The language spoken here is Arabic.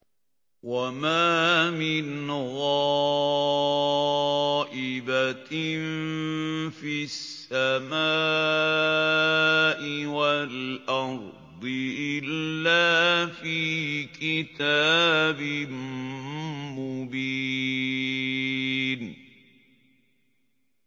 وَمَا مِنْ غَائِبَةٍ فِي السَّمَاءِ وَالْأَرْضِ إِلَّا فِي كِتَابٍ مُّبِينٍ